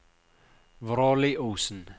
Vråliosen